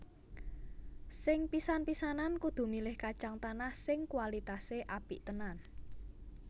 Sing pisanan kudu milih kacang tanah sing kualitasé apik tenan